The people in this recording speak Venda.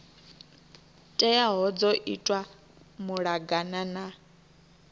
teaho dzo itwa malugana na